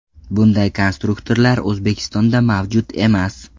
Bunday konstruktorlar O‘zbekistonda mavjud emas.